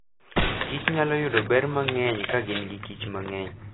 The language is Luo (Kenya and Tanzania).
Kich nyalo yudo ber mang'eny ka gin gi Kich mang'eny.